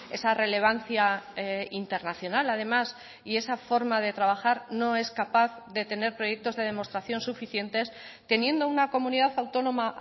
esa relevancia internacional además y esa forma de trabajar no es capaz de tener proyectos de demostración suficientes teniendo una comunidad autónoma